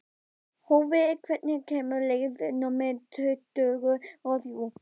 Hófí, hvenær kemur leið númer tuttugu og þrjú?